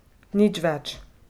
Nič več.